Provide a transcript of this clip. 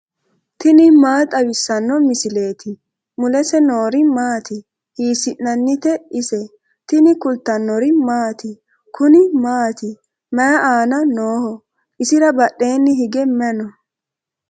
tini maa xawissanno misileeti ? mulese noori maati ? hiissinannite ise ? tini kultannori maati? Kuni maati? mayi aanna nooho? isira badheenni hige may noo?